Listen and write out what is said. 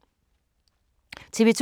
TV 2